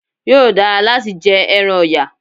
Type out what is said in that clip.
Yóò dara láti jẹ ẹran ọ̀yà